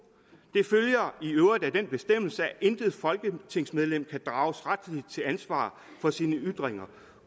det følger i øvrigt af den bestemmelse at intet folketingsmedlem kan drages retsligt til ansvar for sine ytringer